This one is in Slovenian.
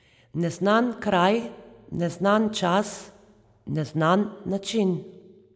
Neznan kraj, neznan čas, neznan način?